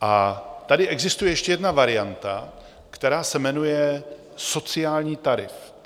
A tady existuje ještě jedna varianta, která se jmenuje sociální tarif.